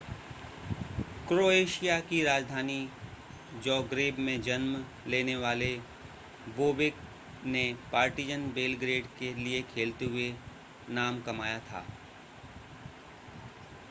Croatia की राजधानी Zagreb में जन्म लेने वाले बोबेक ने पार्टिज़न बेलग्रेड के लिए खेलते हुए नाम कमाया था